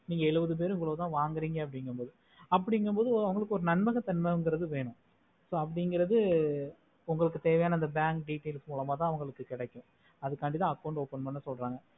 நீங்க ஏழுவது பேரும் இதுலதா வாங்குறீங்க அப்புடின்னுமொடு அவர்களுக்கு ஒரு அவர்களுக்கு ஒரு நன்மகத்தன்மைகிறது வேணும் so அபுடிங்கிறது உங்களுக்கு தேவையான அந்த bank details மூலமாத கேடாகும் அதுகண்டிதா account open பண்ண சொல்ராங்க